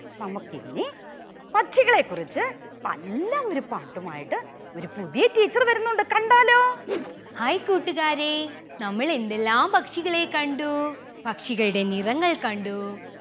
നമുക്കിനി പക്ഷികളെ കുറിച്ച് നല്ല ഒരു പാട്ടുമായിട്ട് ഒരു പുതിയ teacher വരുന്നുണ്ട്. കണ്ടാലോ hai കൂട്ടുകാരേ നമ്മളെന്തെല്ലാം പക്ഷികളെ കണ്ടു പക്ഷികളുടെ നിറങ്ങൾ കണ്ടു.